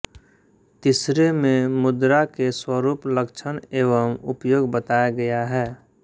तीसरे में मुद्रा के स्वरुप लक्षण एवं उपयोग बताया गया है